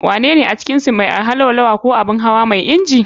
Wanene a cikinsu mai arha, Laulawa ko Abun hawa mai inji?